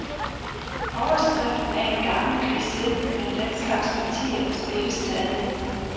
Overskriften er en gammel kliché, men den slags partier spilles stadig.